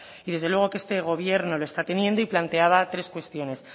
y desde luego que este gobierno lo está teniendo y planteaba tres cuestiones